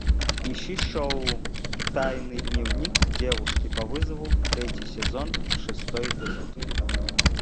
ищи шоу тайный дневник девушки по вызову третий сезон шестой эпизод